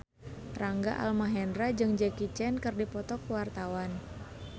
Rangga Almahendra jeung Jackie Chan keur dipoto ku wartawan